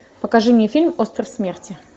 покажи мне фильм остров смерти